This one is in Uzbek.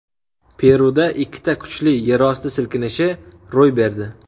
Peruda ikkita kuchli yerosti silkinishi ro‘y berdi.